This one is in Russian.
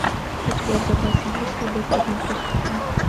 у тебя в запасе есть любовь под микроскопом